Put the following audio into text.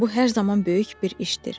Bu hər zaman böyük bir işdir.